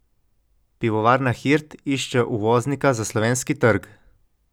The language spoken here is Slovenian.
Pivovarna Hirt išče uvoznika za slovenski trg.